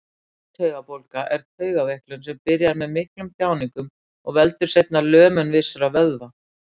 Úttaugabólga er taugaveiklun sem byrjar með miklum þjáningum og veldur seinna lömun vissra vöðva.